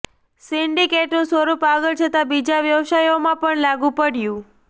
સિન્ડિકેટનું સ્વરૂપ આગળ જતા બીજા વ્યવસાયોમાં પણ લાગુ પડ્યું